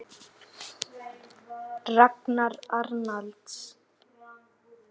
Það glymur úr því músík.